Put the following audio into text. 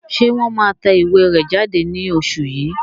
Ṣé wọ́n máa tẹ ìwé rẹ̀ jáde ní oṣù yìí?